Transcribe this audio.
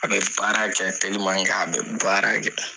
A bɛ baara kɛ a bɛ baara kɛ.